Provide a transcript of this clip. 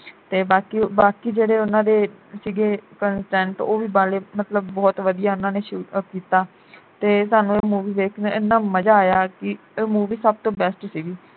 ਤੇ ਬਾਕੀ ਬਾਕੀ ਜਿਹੜੇ ਉਨਾਂ ਦੇ ਸੀਗੇ content ਉਹ ਵੀ ਬਾਲੇ ਮਤਲਬ ਉਹ ਵਧੀਆ ਉਹਨਾਂ ਨੇ shoot up ਕੀਤਾ ਤੇ ਸਾਨੂੰ ਇਹ movie ਦੇਖ ਕੇ ਏਨਾ ਮਜਾ ਆਇਆ ਕਿ ਇਹ movie ਸਭ ਤੋਂ best ਸੀਗੀ